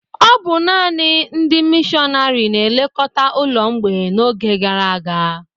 Ọ bụ nanị ndị mịshọnárì na-elekọta ụlọ mgbei n'oge gara aga